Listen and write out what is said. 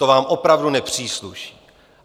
To vám opravdu nepřísluší.